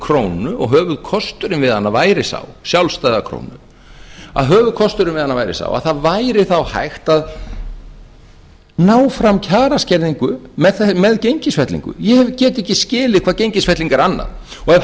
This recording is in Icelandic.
krónu sjálfstæða krónu og höfuðkosturinn við hana væri sá að það væri þá hægt að ná fram kjaraskerðingu með gengisfellingu ég get ekki skilið hvað gengisfelling er annað ef